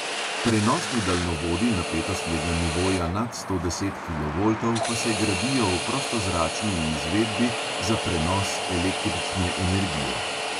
Prenosni daljnovodi napetostnega nivoja nad sto deset kilovoltov pa se gradijo v prostozračni izvedbi za prenos električne energije.